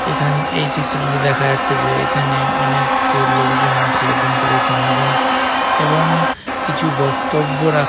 এখান এই চিত্রটি দেখা যাচ্ছে যে এখানে অনেক লোকজন আছে এবং তাদের সমাগম এবং কিছু বক্তব্য রাখ--